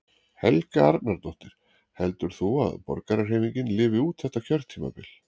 Helga Arnardóttir: Heldur þú að Borgarahreyfingin lifi út þetta kjörtímabil?